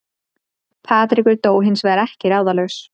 Patrekur dó hins vegar ekki ráðalaus